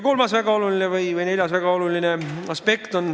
Kolmas või neljas väga oluline aspekt.